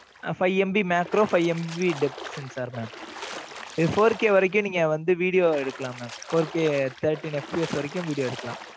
five MB macro, five MB death sensor mam இது four K வரைக்கும், நீங்க வந்து, video எடுக்கலாமே. four K, thirteen FBS வரைக்கும், video எடுக்கலாம்.